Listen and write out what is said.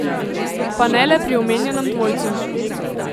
Pa ne le pri omenjenem dvojcu.